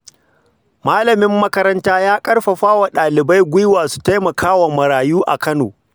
Malamin makaranta ya karfafa wa dalibai gwiwa su taimaka wa marayu a Kano.